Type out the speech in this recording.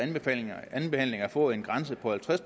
andenbehandlingen at få en grænse på halvtreds